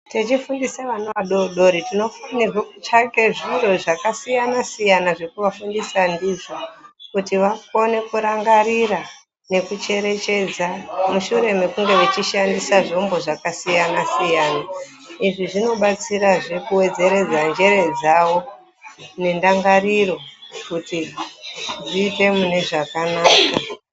Tichifundise vana vadoodori tinofanirwe kutsvake zviro zvakasiyana siyana zvekuvafundisa ndizvo kuti vakone kurangarira nekucherechedza mushure mekunge vechishandisa zvombo zvakasiyana siyana izvi zvinobatsirazve kuwedzeredza njere dzawo nendangariro kuti dziite mune zvakanaka.